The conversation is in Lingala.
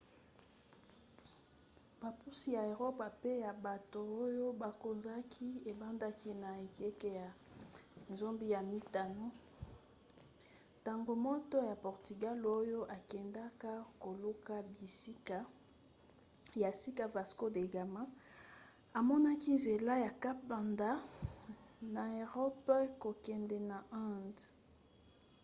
bopusi ya eropa mpe ya bato oyo bakonzaki ebandaki na ekeke ya 15 ntango moto ya portugal oyo akendaka koluka bisika ya sika vasco da gama amonaki nzela ya cap banda na erope kokende na inde